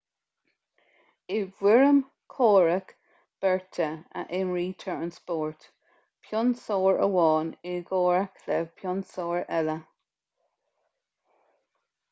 i bhfoirm comhrac beirte a imrítear an spórt pionsóir amháin i gcomhrac le pionsóir eile